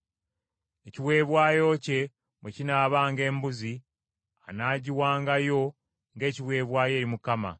“ ‘Ekiweebwayo kye bwe kinaabanga embuzi, anaagiwangayo ng’ekiweebwayo eri Mukama ;